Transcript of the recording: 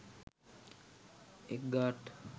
egg art